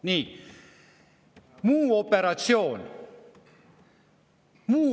Nii, muu operatsioon.